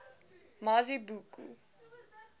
mazibuko